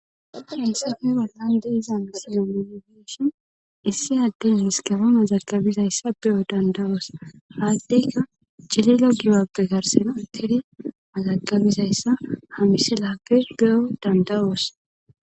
Hensefe ballande iza misiyo mologishin issi adden miskaba mazagabizayssa be'o dandawoos haaddeyka jalila gibappe karsen urtidi mazagabizayssa ha mise laakke ge'o danda'oos.